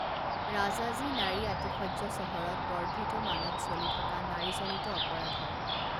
ৰাজাজী নাৰী আতিশয্য চহৰত বৰ্ধিত মানত চলি থকা নাৰীজনিত অপৰাধৰ